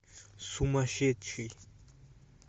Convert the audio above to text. сумасшедший